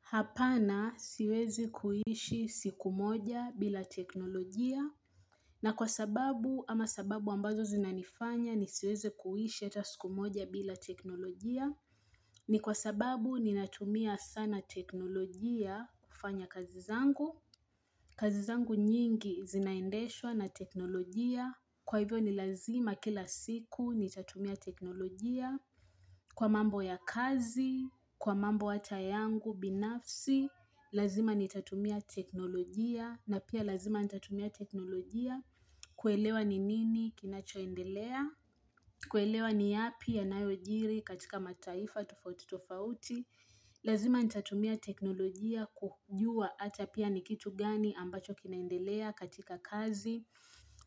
Hapana siwezi kuishi siku moja bila teknolojia. Na kwa sababu ama sababu ambazo zinanifanya nisiweze kuishi hata siku moja bila teknolojia. Ni kwa sababu ninatumia sana teknolojia kufanya kazi zangu. Kazi zangu nyingi zinaendeshwa na teknolojia. Kwa hivyo ni lazima kila siku nitatumia teknolojia. Kwa mambo ya kazi, kwa mambo hata yangu binafsi, lazima nitatumia teknolojia, na pia lazima nitatumia teknolojia kuelewa ni nini kinachoendelea, kuelewa ni yapi yanayojiri katika mataifa tofauti tofauti, lazima nitatumia teknolojia kujua ata pia ni kitu gani ambacho kinaendelea katika kazi,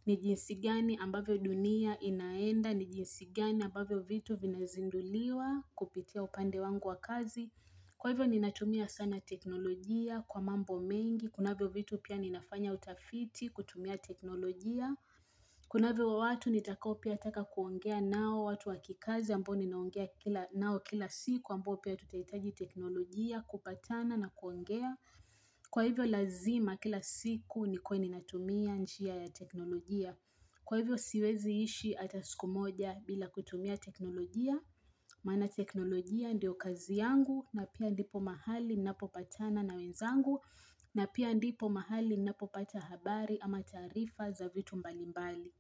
ni jinsi gani ambavyo dunia inaenda, ni jinsi gani ambavyo vitu vinazinduliwa kupitia upande wangu wa kazi Kwa hivyo ninatumia sana teknolojia kwa mambo mengi, kunavyo vitu pia ninafanya utafiti kutumia teknolojia Kunavyo watu nitakao pia taka kuongea nao watu wa kikazi ambao ninaongea nao kila siku ambao pia tutaitaji teknolojia kupatana na kuongea Kwa hivyo lazima kila siku nikuwe ninatumia njia ya teknolojia Kwa hivyo siwezi ishi ata siku moja bila kutumia teknolojia Maana teknolojia ndio kazi yangu na pia ndipo mahali napopatana na wenzangu na pia ndipo mahali napopata habari ama taarifa za vitu mbalimbali.